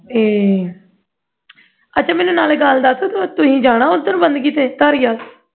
ਤੇ ਅੱਛਾ ਮੈਨੂੰ ਨਾਲੇ ਗੱਲ ਦੱਸ ਤੁਸੀਂ ਜਾਣਾ ਓਧਰ ਬੰਦਗੀ ਤੇ ਧਾਰੀਵਾਲ